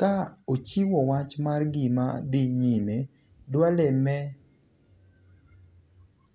ka ochiwo wach mar gima dhi nyime Duale me